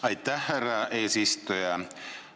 Aitäh, härra eesistuja!